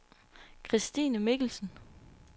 Kristine Michelsen